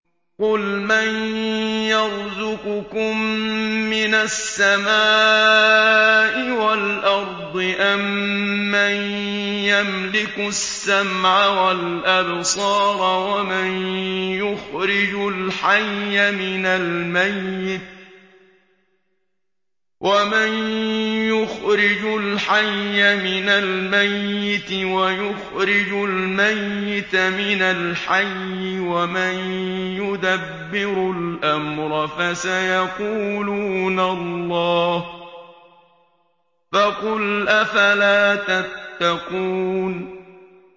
قُلْ مَن يَرْزُقُكُم مِّنَ السَّمَاءِ وَالْأَرْضِ أَمَّن يَمْلِكُ السَّمْعَ وَالْأَبْصَارَ وَمَن يُخْرِجُ الْحَيَّ مِنَ الْمَيِّتِ وَيُخْرِجُ الْمَيِّتَ مِنَ الْحَيِّ وَمَن يُدَبِّرُ الْأَمْرَ ۚ فَسَيَقُولُونَ اللَّهُ ۚ فَقُلْ أَفَلَا تَتَّقُونَ